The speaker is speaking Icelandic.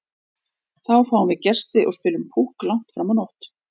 Þá fáum við gesti og spilum Púkk langt fram á nótt.